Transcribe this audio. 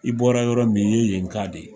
I bɔra yɔrɔ min ,i ye yen ka de ye.